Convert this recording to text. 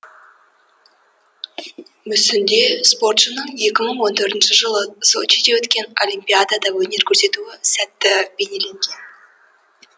мүсінде спортшының екі мың он төртінші жылы сочиде өткен олимпиадада өнер көрсету сәті бейнеленген